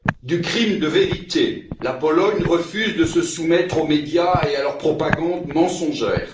Du crime de vérité la Pologne refuse de se soumettre aux médias et à leur propagande mensongère.